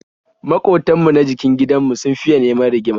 Maƙotan mu na jikin gidan mu sun fiya neman rigima